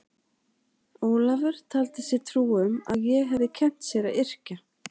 Ólafur taldi sér trú um að ég hefði kennt sér að yrkja.